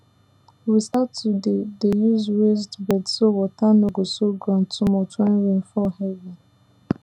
we start to dey dey use raised beds so water no go soak ground too much when rain fall heavy